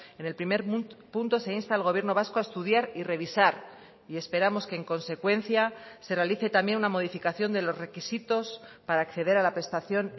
en el primer punto se insta al gobierno vasco a estudiar y revisar y esperamos que en consecuencia se realice también una modificación de los requisitos para acceder a la prestación